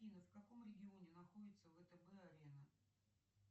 афина в каком регионе находится втб арена